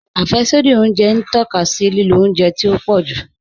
Afẹ́ṣodì ọ̀unjẹ n tọka sí lílò ọ̀unjẹ tí o pọ̀ jù.